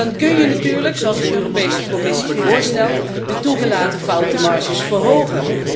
En dan kun je natuurlijk, zoals de Europese Commissie voorstelt, de toegelaten foutenmarges verhogen.